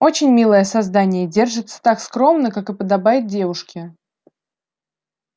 очень милое создание держится так скромно как и подобает девушке